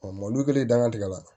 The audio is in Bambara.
mɔni kelen danga tigɛ la